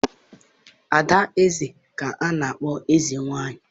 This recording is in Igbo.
ada eze ka a na-akpọ eze nwanyị.